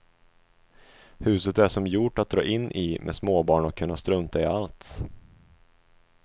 Huset är som gjort att dra in i med småbarn och kunna strunta i allt.